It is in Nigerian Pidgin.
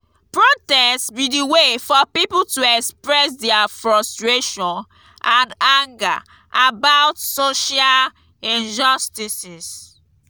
protest be di way for people to express dia frustration and anger about social injustices.